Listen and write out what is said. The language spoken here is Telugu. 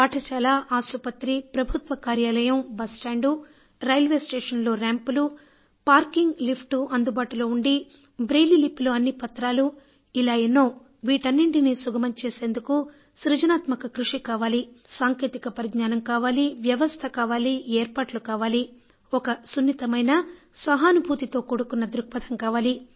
పాఠశాల ఆసుపత్రి ప్రభుత్వ కార్యాలయం బస్టాండు రైల్వేస్టేషన్ లో ర్యాంప్ లు పార్కింగ్ లిఫ్ట్ అందుబాటులో ఉండి బ్రెయిలీ లిపిలో అన్ని పత్రాలు ఇలా ఎన్నో వీటన్నింటినీ సుగమం చేసేందుకు సృజనాత్మక కృషి కావాలి సాంకేతిక పరిజ్ఞానం కావాలి వ్యవస్థ కావాలి ఏర్పాట్లు కావాలి ఒక సున్నితమైన సహానుభూతితో కూడుకున్న దృక్పథం కావాలి